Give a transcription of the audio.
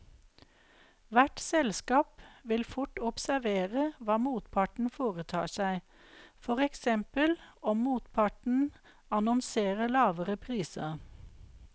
Hvert selskap vil fort observere hva motparten foretar seg, for eksempel om motparten annonserer lavere priser.